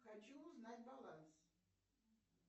хочу узнать баланс